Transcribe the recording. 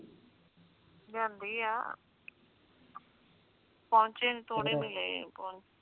ਲਿਆਂਦੀ ਆ ਪੌਚੇ ਥੋੜੇ ਮਿਲੇ ਈ